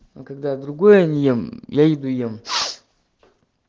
а когда я другое не ем я иду ем